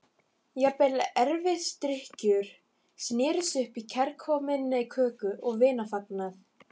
Jafnvel erfisdrykkjur snerust upp í kærkominn köku- og vinafagnað.